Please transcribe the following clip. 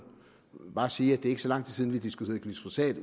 bare sige at det ikke er så lang tid siden vi diskuterede glyfosat